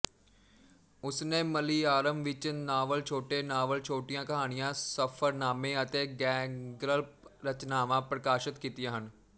ਉਸਨੇ ਮਲਿਆਲਮ ਵਿੱਚ ਨਾਵਲ ਛੋਟੇ ਨਾਵਲ ਛੋਟੀਆਂ ਕਹਾਣੀਆਂ ਸਫ਼ਰਨਾਮੇ ਅਤੇ ਗ਼ੈਰਗਲਪ ਰਚਨਾਵਾਂ ਪ੍ਰਕਾਸ਼ਤ ਕੀਤੀਆਂ ਹਨ